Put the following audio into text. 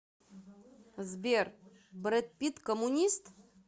сбер брэд питт коммунист